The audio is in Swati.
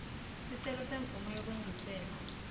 sicelo semvumo yekwengciselwa